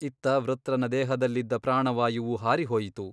ಇತ್ತ ವೃತ್ರನ ದೇಹದಲ್ಲಿದ್ದ ಪ್ರಾಣವಾಯುವು ಹಾರಿಹೋಯಿತು.